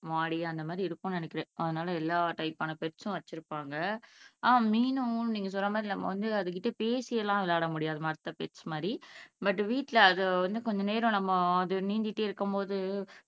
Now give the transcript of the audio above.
மாடி அந்த மாதிரி இருக்கும்னு நினைக்கிறேன் அதனால எல்லா டைப்பான பெட்ஸும் வச்சிருப்பாங்க ஆஹ் மீனும் நீங்க சொன்னமாதிரி நம்ம வந்து அதுகிட்ட பேசி எல்லாம் விளையாடமுடியாது மத்த பெட்ஸ் மாதிரி பட் வீட்ல அது வந்து கொஞ்சநேரம் அது நீந்திட்டே இருக்குப்போது